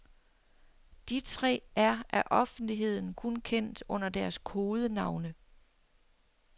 De tre er af offentligheden kun kendt under deres kodenavne.